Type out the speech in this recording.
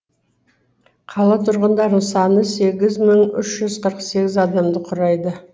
қала тұрғындарының саны сегіз мың үш жүз қырық сегіз адамды құрайды